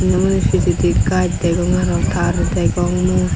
se hure pijedi gaj degong aro tar degong mui.